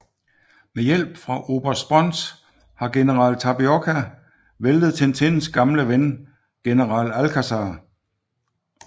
Med hjælp fra oberst Sponz har general Tapioca væltet Tintins gamle ven general Alcazar